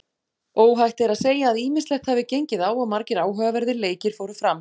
Óhætt er að segja að ýmislegt hafi gengið á og margir áhugaverðir leikir fóru fram.